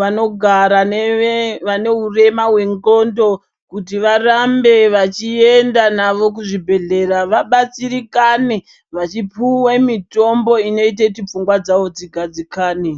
vanogara neve vane hurema hwenxondo kuti varambe vachienda navo kuzvibhedhlera vabatsirikane vachipuwe mitombo inoite kuti pfungwa dzawo dzigadzikane